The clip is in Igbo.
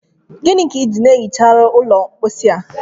Gịnị ka iji ehicharụ ụlọ mposi a